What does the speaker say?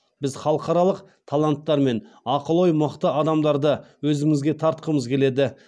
біз халықаралық таланттар мен ақыл ойы мықты адамдарды өзімізге тартқымыз келеді